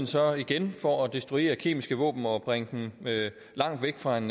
så igen for at destruere kemiske våben og bringe dem langt væk fra en